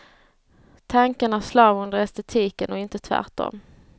Tanken är slav under estetiken och inte tvärtom.